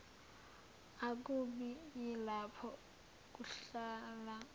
akubi yilapho kuhlala